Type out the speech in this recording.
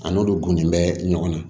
A n'olu gunde bɛ ɲɔgɔn na